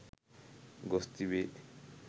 ගොස් තිබේ.